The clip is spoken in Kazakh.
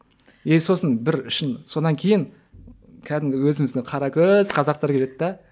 и сосын бір үшін сонан кейін кәдімгі өзіміздің қара көз қазақтар келеді де